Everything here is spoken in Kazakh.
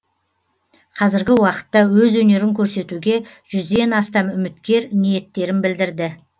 қазіргі уақытта өз өнерін көрсетуге жүзден астам үміткер ниеттерін білдірді